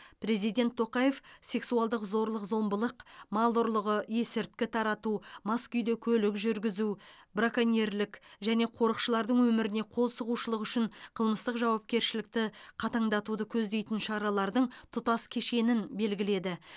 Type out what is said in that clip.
президент тоқаев сексуалдық зорлық зомбылық мал ұрлығы есірткі тарату мас күйде көлік жүргізу браконьерлік және қорықшылардың өміріне қол сұғушылық үшін қылмыстық жауапкершілікті қатаңдатуды көздейтін шаралардың тұтас кешенін белгіледі